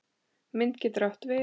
Mynd getur átt við